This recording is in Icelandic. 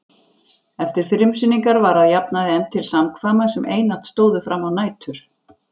Eftir frumsýningar var að jafnaði efnt til samkvæma sem einatt stóðu frammá nætur.